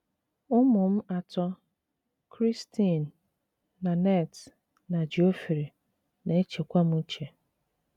Ụmụ m atọ — Christine, Nanette, na Geoffrey — na - echekwa m uche.